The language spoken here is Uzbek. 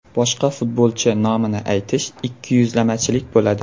Boshqa futbolchi nomini aytish ikkiyuzlamachilik bo‘ladi.